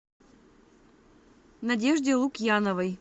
надежде лукьяновой